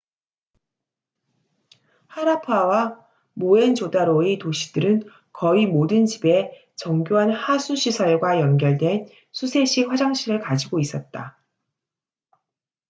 하라파와 모헨조다로의 도시들은 거의 모든 집에 정교한 하수 시설과 연결된 수세식 화장실을 가지고 있었다